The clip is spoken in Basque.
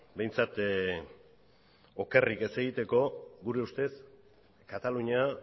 behintzat okerrik ez egiteko gure ustez katalunia